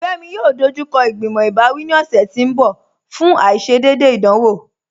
Fẹmi yóò dọjúkọ igbimọ̀ ibàwí ní ọṣẹ̀ tì n bọ̀ fún aìṣédéédé ìdánwọ̀.